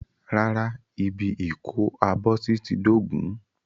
Rárá, ibi ìkó-abọ́sí ti dóògùn.